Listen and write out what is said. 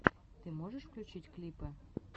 ты можешь включить клипы